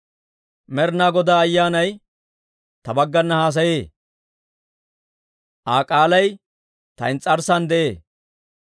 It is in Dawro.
«Med'inaa Godaa Ayyaanay ta baggana haasayee; Aa k'aalay ta ins's'arssan de'ee.